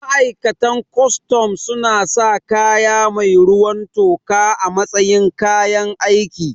Ma'aikatan kustum suna sa kaya mai ruwan toka a matsayin kayan aiki